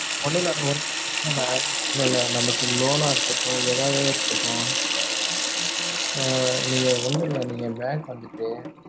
ஒன்னும் இல்ல mam இல்ல இல்ல நமக்கு loan னா இருக்கட்டும், ஏதாது இருக்கட்டும் ஆஹ் நீங்க வந்து நீங்க bank வந்துட்டு